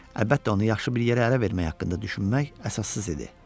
Əlbəttə onu yaxşı bir yerə ərə vermək haqqında düşünmək əsassız idi.